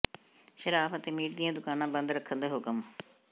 ਸ਼ਰਾਬ ਅਤੇ ਮੀਟ ਦੀਆਂ ਦੁਕਾਨਾਂ ਬੰਦ ਰੱਖਣ ਦੇ ਹੁਕਮ